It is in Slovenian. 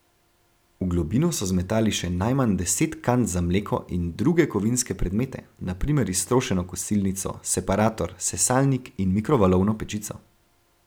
V globino so zmetali še najmanj deset kant za mleko in druge kovinske predmete, na primer iztrošeno kosilnico, separator, sesalnik in mikrovalovno pečico.